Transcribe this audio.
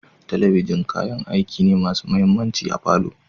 Talabishin kayan aiki ne masu mahimmanci a palour